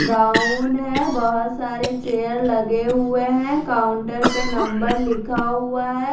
Brown है बोहोत सारे चेयर लगे हुए है काउंटर पे नंबर लिखा हुआ है।